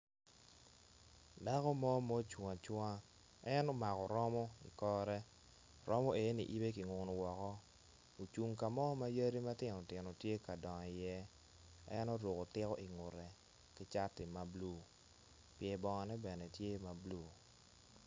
Dako mo ma ocung acunga en omako romo ikore romo eni yibe ki ngunu woko ocung ka mo ma yadi matino tino tye ka dongo i iye en oruko tiko ingute ki cati ma blu pye bongone bene tye ma blue